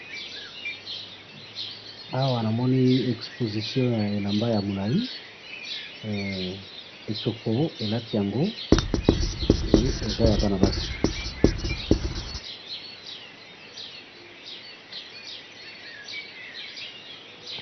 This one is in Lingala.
Awa namoni exposition ya elamba yamulayi, eh! ekoki elati yango, et eza yabana basi